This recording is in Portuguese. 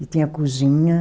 E tinha a cozinha.